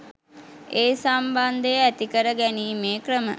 ඒ සම්බන්ධය ඇති කර ගැනීමේ ක්‍රම